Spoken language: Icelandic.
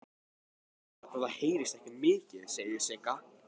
Nema náttúrlega hvað það heyrist mikið niður, segir Sigga.